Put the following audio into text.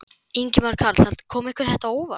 Ingimar Karl: Kom þetta ykkur á óvart?